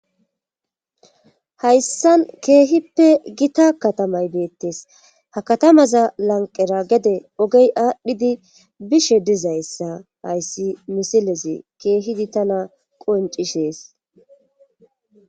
Hayssan keehippe gita katamay deettes ha katamaza lanqera gede ogey aadhdhidi bishe dizayssa hayssi misilezi keehidi tana qoncishees